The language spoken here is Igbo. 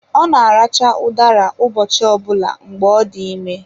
Ọ na-aracha udara ụbọchị ọ bụla mgbe ọ dị ime.